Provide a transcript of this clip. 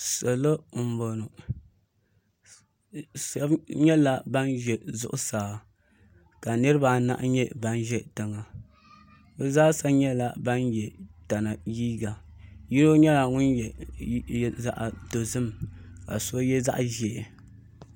salo n bɔŋɔ shɛbi nyɛla ban ʒɛ zuɣ saa ka niribaanahi nyɛ ban ʒɛ tiŋa be zaasa nyɛla ban yɛ tana liga yino nyɛla ŋɔ yɛ zaɣ dozim ka so yɛ zaɣ ʒiɛ